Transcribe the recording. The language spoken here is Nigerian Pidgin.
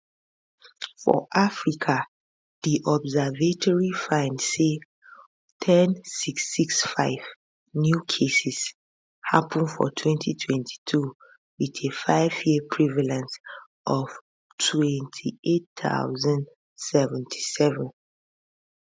for africa di observatory find say 10665 new cases happun for 2022 wit a fiveyear prevalence of 28077